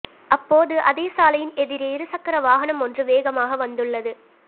அப்போது அதே சாலையின் எதிரே இருசக்கர வாகனம் ஒன்று வேகமாக வந்துள்ளது